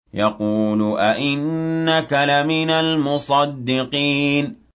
يَقُولُ أَإِنَّكَ لَمِنَ الْمُصَدِّقِينَ